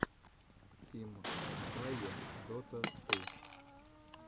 тим эмпае дота ту